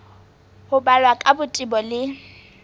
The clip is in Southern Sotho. ho balwa ka botebo le